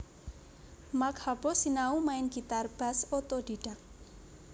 Mark Hoppus sinau main Gitar Bass otodidak